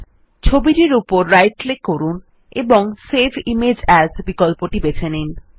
এখন ছবিটির উপর রাইট ক্লিক করুন এবং সেভ ইমেজ এএস বিকল্পটি বেছে নিন